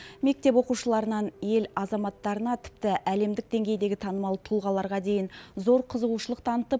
мектеп оқушыларынан ел азаматтарына тіпті әлемдік деңгейдегі танымал тұлғаларға дейін зор қызығушылық танытып